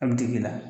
A bɛ digi i la